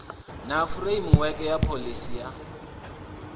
na furemiweke ya pholisi ya